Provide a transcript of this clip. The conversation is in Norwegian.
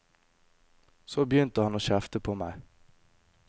Så begynte han å kjefte på meg.